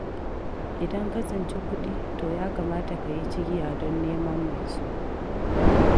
Idan ka tsinci kuɗi, to ya kamata ka yi cigiya don neman mai su.